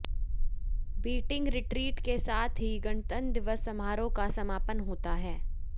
beating retreat के साथ ही गणतंत्र दिवस समारोह का समापन होता है